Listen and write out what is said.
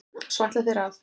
Svo ætla þeir að?